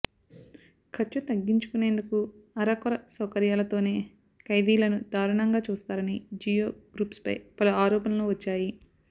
ఖర్చు తగ్గించుకునేందుకు అరకొర సౌకర్యాలతోనే ఖైదీలను దారుణంగా చూస్తారని జియో గ్రూప్పై పలు ఆరోపణలు వచ్చాయి